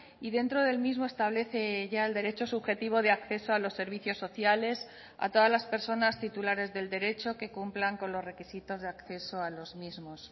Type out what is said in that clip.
y dentro del mismo establece ya el derecho subjetivo de acceso a los servicios sociales a todas las personas titulares del derecho que cumplan con los requisitos de acceso a los mismos